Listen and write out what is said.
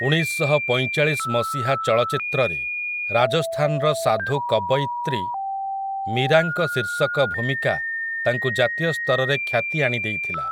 ଉଣେଇଶଶହପଇଁଚାଳିଶ ମସିହା ଚଳଚ୍ଚିତ୍ରରେ ରାଜସ୍ଥାନର ସାଧୁ କବୟିତ୍ରୀ ମୀରାଙ୍କ ଶୀର୍ଷକ ଭୂମିକା ତାଙ୍କୁ ଜାତୀୟ ସ୍ତରରେ ଖ୍ୟାତି ଆଣି ଦେଇଥିଲା ।